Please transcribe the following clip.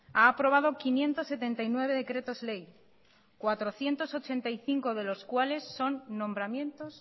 ha aprobado quinientos setenta y nueve decretos ley cuatrocientos ochenta y cinco de los cuales son nombramientos